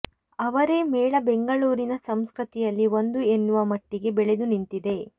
ಅವರೆ ಮೇಳ ಬೆಂಗಳೂರಿನ ಸಂಸ್ಕೃತಿಯಲ್ಲಿ ಒಂದು ಎನ್ನುವ ಮಟ್ಟಿಗೆ ಬೆಳೆದು ನಿಂತಿದೆ